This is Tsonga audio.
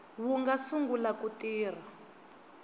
wu nga sungula ku tirha